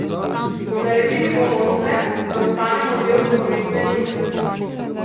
Naredili bomo vse, da ostanemo del rokometne elite.